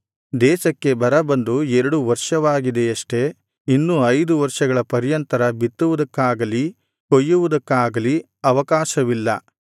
ದೇಶಕ್ಕೆ ಬರ ಬಂದು ಎರಡು ವರ್ಷವಾಗಿದೆಯಷ್ಟೆ ಇನ್ನೂ ಐದು ವರ್ಷಗಳ ಪರ್ಯಂತರ ಬಿತ್ತುವುದಕ್ಕಾಗಲಿ ಕೊಯ್ಯುವುದಕ್ಕಾಗಲಿ ಅವಕಾಶವಿಲ್ಲ